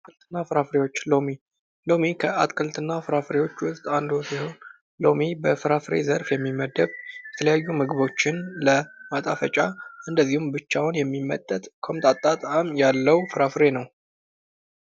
አትክልትና ፍራፍሬዎች ሎሚ ሎሚ ከአትክልትና ፍራፍሬዎች ውስጥ አንዱ ሲሆን፤ ሎሚ በፍራፍሬ ዘርፍ የሚመደብ የተለያዩ ምግቦችን ለማጣፈጫ እንደዚሁም ብቻውን የሚመጠጥ ቆምጣጣ ጣዕም ያለው ፍራፍሬ ነው።